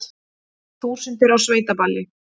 Þúsundir á sveitaballi